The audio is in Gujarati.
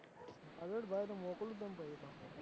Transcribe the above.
હારું હેડ ભાઈ હવે મોકલું તને પહી